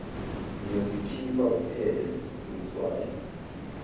ngiyosikhipha kuphele ngetswayi